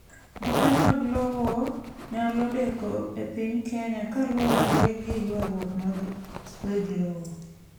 Brupe mag lowo nyalodeko epiny Kenya kaluwore giyuaruok mag weg lowo.